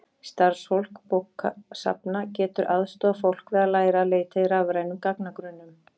Starfsfólk bókasafna getur aðstoðað fólk við að læra að leita í rafrænum gagnagrunnum.